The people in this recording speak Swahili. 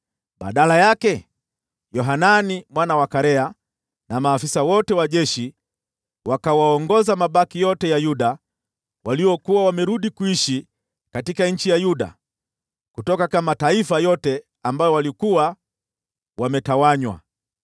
Badala yake, Yohanani mwana wa Karea na maafisa wote wa jeshi wakawaongoza mabaki yote ya Yuda waliokuwa wamerudi kuishi katika nchi ya Yuda kutoka mataifa yote ambayo walikuwa wametawanywa.